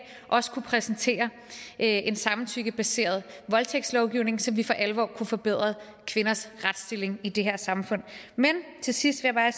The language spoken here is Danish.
også kunne præsentere en samtykkebaseret voldtægtslovgivning så vi for alvor kunne få forbedret kvinders retsstilling i det her samfund men til sidst vil jeg